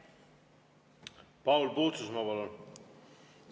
Paul Puustusmaa, palun!